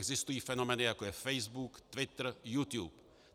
Existují fenomény, jako je Facebook, Twitter, YouTube.